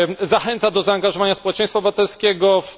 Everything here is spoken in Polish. Zachęca do zaangażowania społeczeństwa obywatelskiego w ust.